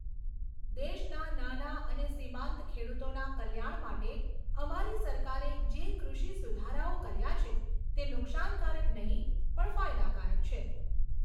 દેશના નાના અને સિમાંત ખેડૂતોના કલ્યાણ માટે અમારી સરકારે જે કૃષિ સુધારાઓ કર્યા છે તે નુકશાનકારક નહીં પણ ફાયદાકારક છે.